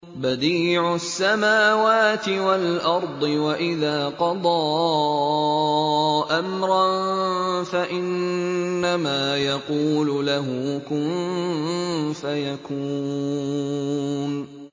بَدِيعُ السَّمَاوَاتِ وَالْأَرْضِ ۖ وَإِذَا قَضَىٰ أَمْرًا فَإِنَّمَا يَقُولُ لَهُ كُن فَيَكُونُ